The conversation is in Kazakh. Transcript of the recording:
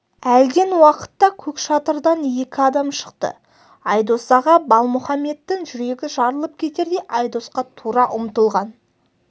әлден уақытта көк шатырдан екі адам шықты айдос аға балмұхаммедтің жүрегі жарылып кетердей айдосқа тура ұмтылған